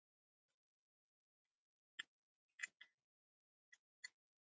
Ég hækkaði mikið í áliti hjá mömmu. um tíma.